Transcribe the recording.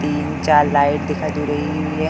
तीन चार लाइट दिखाई दे रही हुई हैं।